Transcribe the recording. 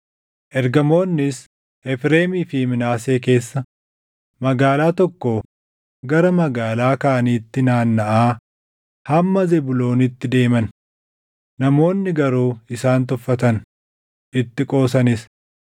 Ergamoonnis Efreemii fi Minaasee keessa magaalaa tokkoo gara magaalaa kaaniitti naannaʼaa hamma Zebuuloonitti deeman; namoonni garuu isaan tuffatan; itti qoosanis.